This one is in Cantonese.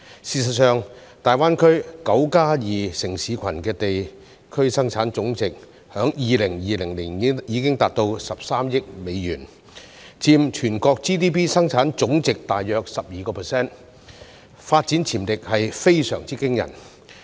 事實上，大灣區"九加二"城市群的地區生產總值在2020年已達至13億美元，佔全國 GDP 生產總值大約 12%， 發展潛力非常驚人。